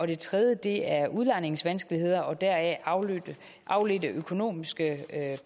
det tredje er udlejningsvanskeligheder og deraf afledte afledte økonomiske